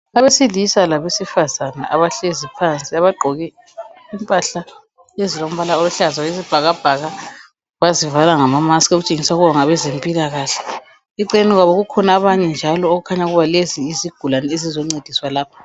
Abesilisa labesifazana abahlezi phansi abagqoke impahla ezilombala oluhlaza okwesibhakabhaka bazivala ngama musk okutshengisa ukubana ngabezempilakahle. Eceleni kwabo eceleni kukhona ezinye izigulani ezizoncediswa lapha.